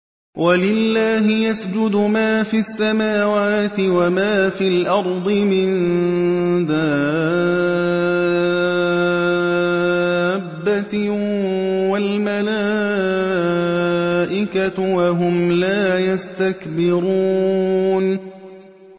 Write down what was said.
وَلِلَّهِ يَسْجُدُ مَا فِي السَّمَاوَاتِ وَمَا فِي الْأَرْضِ مِن دَابَّةٍ وَالْمَلَائِكَةُ وَهُمْ لَا يَسْتَكْبِرُونَ